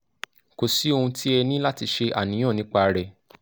kò sí ohun tí ẹ ní láti ṣe àníyàn nípa rẹ̀